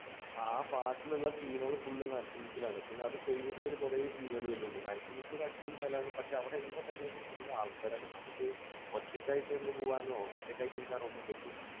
ആ പാട്ടിലുള്ള scene കൾ full നരസിമുക്കിൽ ആണ്. പിന്നെ അത് കഴിഞ്ഞിട്ട് അതിൽ കുറെ scene കൾ വരുന്നുണ്ട്. നരസിമുക്ക് ഒരു അടിപൊളി സ്ഥലമാണ്. പക്ഷേ എന്താന്നു പറഞ്ഞു കഴിഞ്ഞാൽ അവിടെ full ആൾക്കാർ ആണ്. നമുക്ക് ഒറ്റയ്ക്കായിട്ട് ഒന്ന് പോകാനോ ഒറ്റയ്ക്കിരിക്കാനോ ഒന്നും പറ്റില്ല.